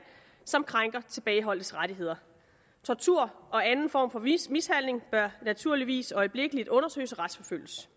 som krænker tilbageholdtes rettigheder tortur og anden form for mishandling bør naturligvis øjeblikkelig undersøges og retsforfølges